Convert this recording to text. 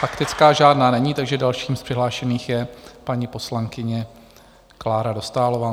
Faktická žádná není, takže další z přihlášených je paní poslankyně Klára Dostálová.